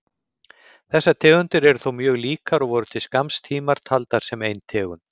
Þessar tegundir eru þó mjög líkar og voru til skamms tíma taldar sem ein tegund.